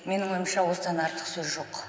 менің ойымша осыдан артық сөз жоқ